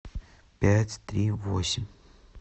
пять три восемь